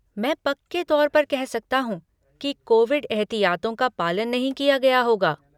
मैं पक्के तौर पर कह सकता हूँ कि कोविड एहतियातों का पालन नहीं किया गया होगा।